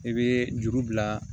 I bɛ juru bila